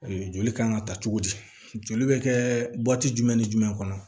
Joli kan ka ta cogo di joli bɛ kɛ jumɛn ni jumɛn kɔnɔ